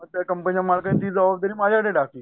मग त्या कंपनीच्या मालकांनी ती जबाबदारी माझ्यावर टाकली